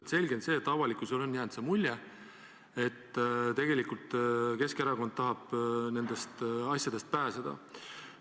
On selge, et avalikkusele on jäänud mulje, et tegelikult Keskerakond tahab nendest asjadest pääseda.